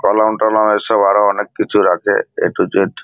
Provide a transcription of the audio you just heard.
কলম টলম এসব আরো অনেক কিছু রাখে এ টু জেড ।